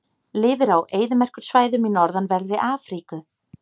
Lifir á eyðimerkursvæðum í norðanverðri Afríku.